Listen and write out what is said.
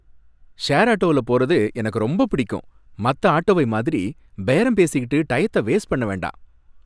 Share ஆட்டோவுல போறது எனக்கு ரொம்ப பிடிக்கும் மத்த ஆட்டோவை மாதிரி பேரம் பேசிக்கிட்டு டயத்த வேஸ்ட் பண்ண வேண்டாம்.